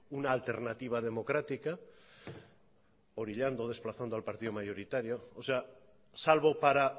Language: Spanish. una alternativa democrática orillando o desplazando al partido mayoritario o sea salvo para